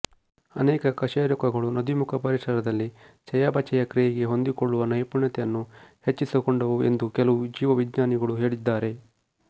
ಅನೇಕ ಕಶೇರುಕಗಳು ನದೀಮುಖ ಪರಿಸರದಲ್ಲಿ ಚಯಾಪಚಯ ಕ್ರಿಯೆಗೆ ಹೊಂದಿಕೊಳ್ಳುವ ನೈಪುಣ್ಯತೆಯನ್ನು ಹೆಚ್ಚಿಸಿಕೊಂಡವು ಎಂದು ಕೆಲವು ಜೀವ ವಿಜ್ಞಾನಿಗಳು ಹೇಳಿದ್ದಾರೆ